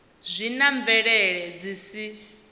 zwi na bvelele dzi si